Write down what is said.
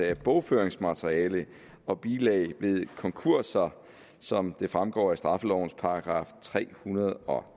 af bogføringsmateriale og bilag ved konkurser som det fremgår af straffelovens § tre hundrede og